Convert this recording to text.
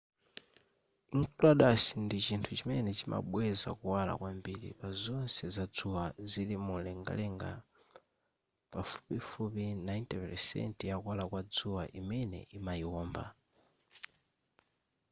enceladus ndi chinthu chimene chimabweza kuwala kwambiri pazonse zadzuwa zili mumlengalenga pafupifupi 90 pelesenti ya kuwala kwa dzuwa imene imayiwomba